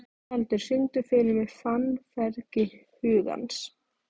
Tjaldur, syngdu fyrir mig „Fannfergi hugans“.